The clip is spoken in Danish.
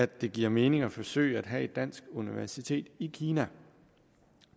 det giver mening at forsøge at have et dansk universitet i kina